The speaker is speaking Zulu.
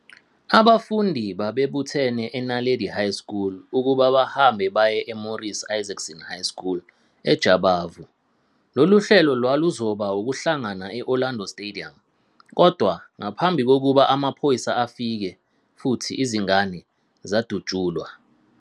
Abafundi babebuthene eNaledi High School ukuba bahambe baye eMorris Isaacson High School eJabavu. Lolu hlelo lwaluzoba ukuhlangana e- Orlando Stadium kodwa ngaphambi kokuba amaphoyisa afike futhi izingane zadutshulwa.